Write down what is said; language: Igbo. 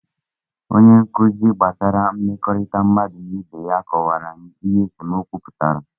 Onye nkuzi gbasara mmekọrịta mmadụ na ibe ya kọwara anyị ihe esemokwu pụtara